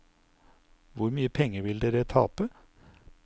Hvor mye penger vil dere tape?